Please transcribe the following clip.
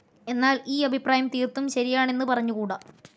എന്നാൽ ഈ അഭിപ്രായം തീർത്തും ശരിയാണെന്ന് പറഞ്ഞുകൂടാ.